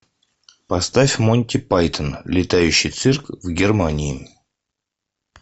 поставь монти пайтон летающий цирк в германии